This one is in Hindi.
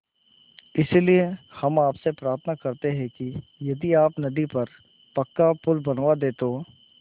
इसलिए हम आपसे प्रार्थना करते हैं कि यदि आप नदी पर पक्का पुल बनवा दे तो